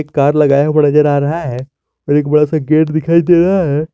Car लगाया हुआ नजर आ रहा है और एक बड़ा सा गेट दिखाई दे रहा है।